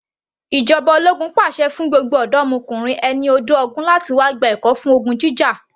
Ìjọba ológun pàṣẹ fún gbogbo ọ̀dọ́mokùnrin ẹni ọdún ogún láti wá gba ẹ̀kọ́ fún ogun jíjà